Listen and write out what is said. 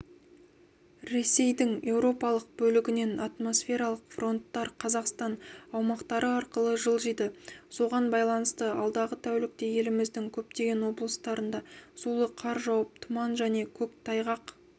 ресейдің еуропалық бөлігінен атмосфералық фронттар қазақстан аумақтары арқылы жылжиды соғанбайланысты алдағы тәулікте еліміздің көптеген облыстарында сулы қар жауып тұман және көктайғақ